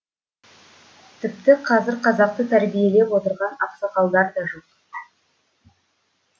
тіпті қазір қазақты тәрбиелеп отырған ақсақалдар да жоқ